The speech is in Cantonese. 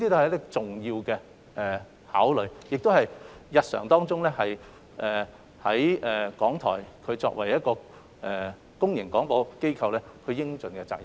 這是重要的考慮，也是港台日常作為公營廣播機構所應盡的責任。